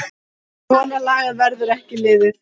Svona lagað verður ekki liðið.